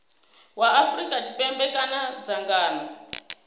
wa afrika tshipembe kana dzangano